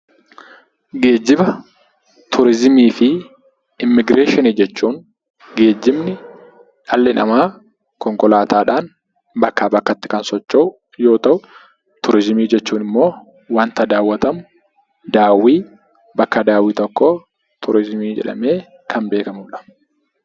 Geejjiba turizimii fi immiigireeshinii jechuun, geejjibni dhalli namaa konkolaataadhaan bakkaa bakkatti kan socho'uyoo ta'u, turizimii jechuun immoo wanta daawwatamu bakka daawwii tokkoo turizimii jedhamee kan beekamudha.